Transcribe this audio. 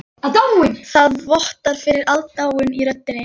Það vottar fyrir aðdáun í röddinni.